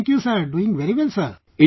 Thank you sir... doing very well sir